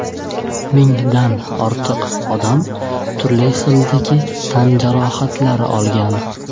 Mingdan ortiq odam turli darajadagi tan jarohatlari olgan.